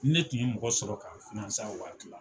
Ni ne tun ye mɔgɔ sɔrɔ k'a n a waati la